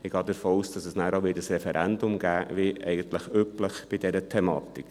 Ich gehe davon aus, dass es nachher auch ein Referendum geben wird, wie eigentlich üblich bei dieser Thematik.